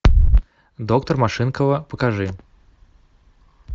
доктор машинкова покажи